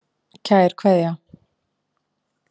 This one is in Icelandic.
Kær kveðja.